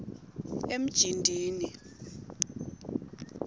emjindini